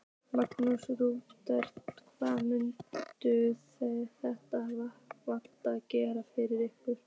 Magnús: Rúnar, hvað mun þetta vatn gera fyrir ykkur?